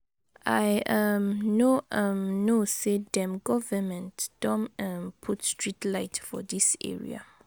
I um no um know say dem govement don um put street light for dis area.